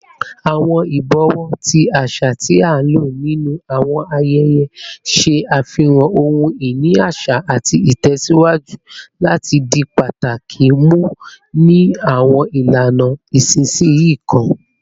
Awọn ibọwọ, ti aṣa ti a lo ninu awọn ayẹyẹ, ṣe afihan ohun-ini aṣa ati tẹsiwaju lati di pataki mu ni awọn ilana isinsinyi kan